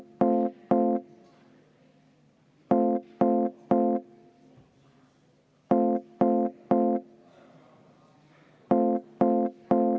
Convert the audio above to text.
Vaheaeg kümme minutit.